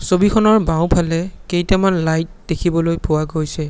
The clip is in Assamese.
ছবিখনৰ বাওঁফালে কেইটামান লাইট দেখিবলৈ পোৱা গৈছে।